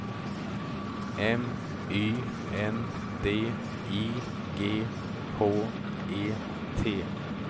M Y N D I G H E T